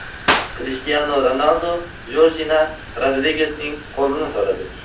Krishtianu Ronaldu Jorjina Rodrigesning qo‘lini so‘radi.